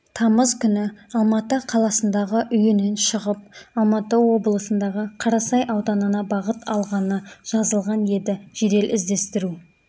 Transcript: тамыз күні алматы қаласындағы үйінен шығып алматы облысындағы қарасай ауданына бағыт алғаны жазылған еді жедел-іздестіру